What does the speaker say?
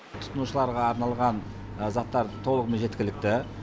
тұтынушыларға арналған заттар толығымен жеткілікті